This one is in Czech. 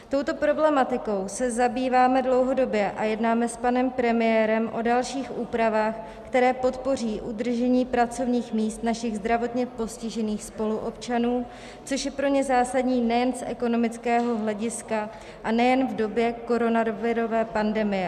Touto problematikou se zabýváme dlouhodobě a jednáme s panem premiérem o dalších úpravách, které podpoří udržení pracovních míst našich zdravotně postižených spoluobčanů, což je pro ně zásadní nejen z ekonomického hlediska a nejen v době koronavirové pandemie.